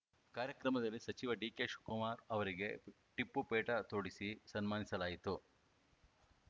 ಕಾರ್ಯಕ್ರಮದಲ್ಲಿ ಸಚಿವ ಡಿಕೆಶಿವಕುಮಾರ್‌ ಅವರಿಗೆ ಟಿಪ್ಪು ಪೇಟ ತೊಡಿಸಿ ಸನ್ಮಾನಿಸಲಾಯಿತು